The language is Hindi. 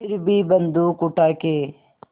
फिर भी बन्दूक उठाके